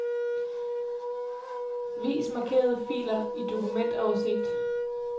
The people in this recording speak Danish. Vis markerede filer i dokumentoversigt.